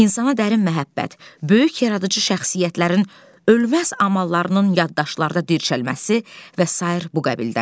İnsana dərin məhəbbət, böyük yaradıcı şəxsiyyətlərin ölməz amallarının yaddaşlarda dirçəlməsi və sair bu qəbildəndir.